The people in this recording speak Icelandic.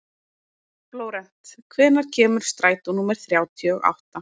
Flórent, hvenær kemur strætó númer þrjátíu og átta?